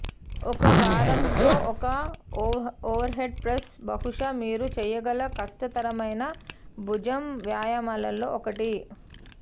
ఒక భారంతో ఒక ఓవర్హెడ్ ప్రెస్ బహుశా మీరు చేయగల కష్టతరమైన భుజం వ్యాయామాలలో ఒకటి